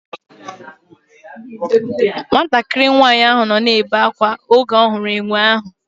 Nwatakịrị nwaanyị ahụ nọ na-ebe akwa oge ọ hụrụ enwe ahụ